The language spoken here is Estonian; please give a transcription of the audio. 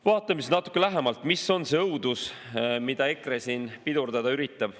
Vaatame natuke lähemalt, mis on see õudus, mida EKRE siin pidurdada üritab.